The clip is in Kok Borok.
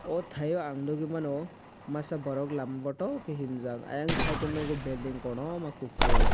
o taiyo ang nogoimano masa borok lama botokhe himjak ayang site o nogo belding kotoma kopor.